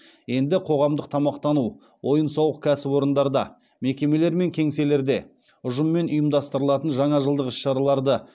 енді қоғамдық тамақтану ойын сауық кәсіпорындарда мекемелер мен кеңселерде ұжыммен ұйымдастырылатын жаңа жылдық іс шараларды